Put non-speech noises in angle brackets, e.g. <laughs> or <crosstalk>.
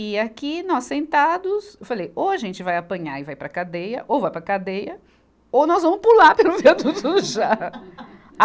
E aqui, nós sentados, eu falei, ou a gente vai apanhar e vai para a cadeia, ou vai para a cadeia, ou nós vamos pular pelo viaduto do chá. <laughs>